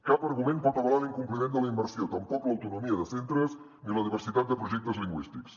cap argument pot avalar l’incompliment de la immersió tampoc l’autonomia de centres ni la diversitat de projectes lingüístics